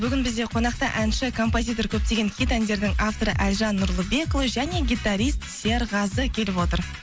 бүгін бізде қонақта әнші композитор көптеген хит әндердің авторы әлжан нұрлыбекұлы және гитарист серғазы келіп отыр